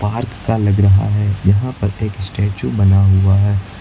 Park का लग रहा है। यहां पर एक स्टेच्यू बना हुआ है।